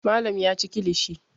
Malam ya ci kilishi.